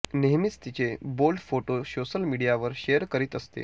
नेहमीच तिचे bold photo social मीडियावर शेअर करीत असते